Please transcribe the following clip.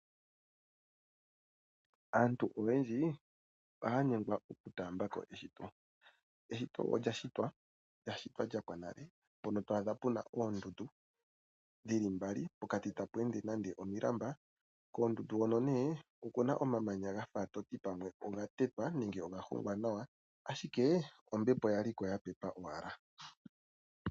Aantu oyendji ohaa nyengwa okutaamba ko eshito. Eshito olya shitwa lya shitwa lya pwa nale, mpono twa adha puna oondundu dhili mbali pokati tapu ende nande omilamba, koondundu hono nee okuna omamanya gafa toti pamwe oga tetwa nenge oga hongwa nawa ashike ombepo yali ko ya pepa ko owala.